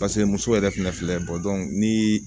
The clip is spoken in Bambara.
Paseke muso yɛrɛ fɛnɛ filɛ ni